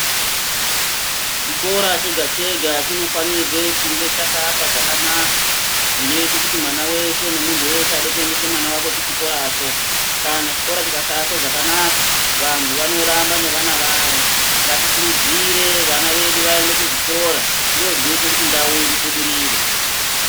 Chikora chega chega chinofanirwe kunge chakaakwa zvakanaka zvinoite kuti mwana weshe nemuntu weshe unode kuendese mwana wake kuchikoracho kana chikora chikasaakwe zvakanaka vantu vanoramba neavana vavo, ngatikurudzire vana vedu vaende kuzvikora ndozvinoita kuti ndau ibudirire.